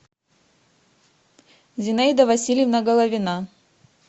зинаида васильевна головина